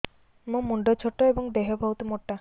ମୋ ମୁଣ୍ଡ ଛୋଟ ଏଵଂ ଦେହ ବହୁତ ମୋଟା